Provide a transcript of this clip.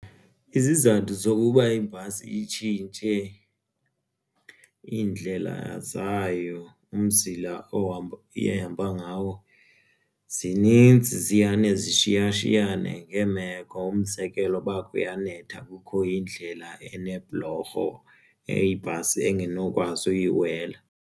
Izizathu zokuba ibhasi zitshintshe indlela zayo umzila ehamba ngawo zininzi ziyane zishiyashiyane ngeemeko umzekelo uba kuyanetha kukho iindlela enebhulorho ibhasi angenokwazi uyiwela.